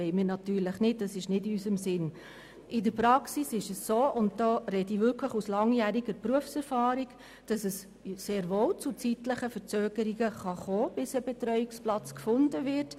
In der Praxis ist es so – und da spreche ich aus langjähriger Berufserfahrung – dass es durchaus zu Verzögerungen kommen kann, bis ein Betreuungsplatz gefunden wird;